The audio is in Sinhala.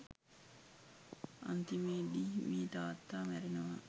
අන්තිමේදී මේ තාත්තා මැරෙනවා